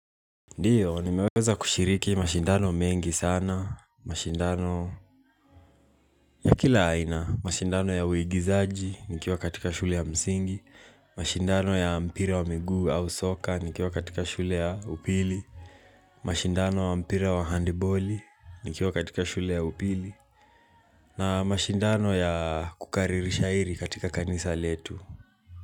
Ndiyo, ni meweza kushiriki mashindano mengi sana. Mashindano ya kila aina. Mashindano ya uigizaji nikiwa katika shule ya msingi. Mashindano ya mpira wa miguu au soka nikiwa katika shule ya upili. Mashindano wa mpira wa handiboli nikiwa katika shule ya upili. Na mashindano ya kukariri shairi katika kanisa letu.